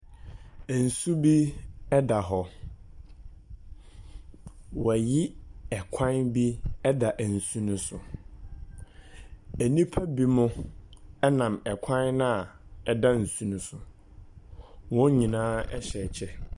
Ensu bi da hɔ. Wɔayi ɛkwan bi da nsu no so. Nnipa binom nam kwan no a ɛda nsu no so. Wɔn nyinaa hyɛ kyɛ.